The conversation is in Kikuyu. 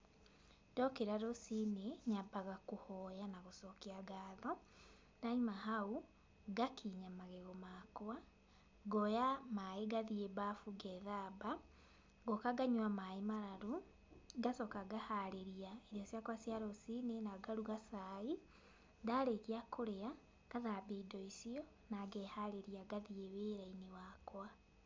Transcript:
Ndokĩra rũciinĩ nyambaga kũhoya na gũcokia ngatho, ndaima hau, ngakinya magego makwa, ngoya maĩ ngathiĩ mbabu ngethamba, ngoka nganyua maĩ mararu, ngacoka ngaharĩria irio ciakwa cia rũciinĩ na ngaruga cai, ndarĩkia kũrĩa ngathambia indo icio na ngeharĩria ngathiĩ wĩrainĩ wakwa.